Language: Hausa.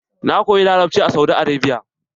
Na koyi larabci a Saudi Arabia.